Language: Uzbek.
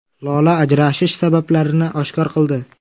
Lola ajrashish sabablarini oshkor qildi.